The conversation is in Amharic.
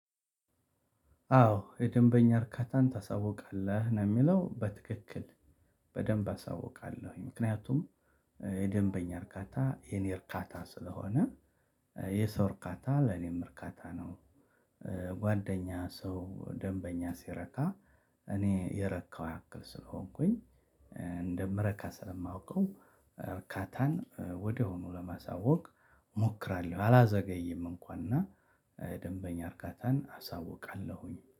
አዎ የደንበኛ እርካታን ታሳውቃለህ ነው። የሚለው በትክክል በደንብ አሳውቃለሁኝ ምክንያቱም የደንበኛ እርካታ የኔ እርካታ ስለሆነ የሰው እርካታ ለኔም እርካታ ነው። ጓደኛ ሰው ደንበኛ ሲረካ እኔ የረካው ያክል ስለሆንኩኝ እንደምረካ ስለማውቀው እርካታን ወዲያውኑ ለማሳወቅ እሞክራለሁ። አላዘገይም እንኳን እና ደንበኛ እርካታን አሳውቃለሁኝ